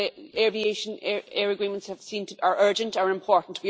So the aviation air agreements, we have seen, are urgent, are important.